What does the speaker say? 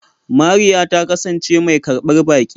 Mariya ta kasance mai karbar baki.